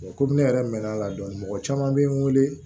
Komi ne yɛrɛ mɛnna a la dɔɔni mɔgɔ caman bɛ n wele